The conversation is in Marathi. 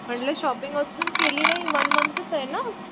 म्हंटली शॉपिंग अजून केली नाही वन मन्थचं आहे ना?